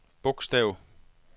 bogstav